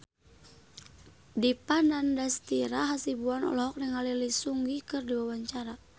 Dipa Nandastyra Hasibuan olohok ningali Lee Seung Gi keur diwawancara